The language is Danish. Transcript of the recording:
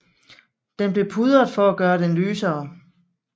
Den blev pudret for at gøre den lysere